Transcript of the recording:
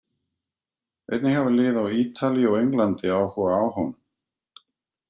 Einnig hafa lið á Ítalíu og Englandi áhuga á honum.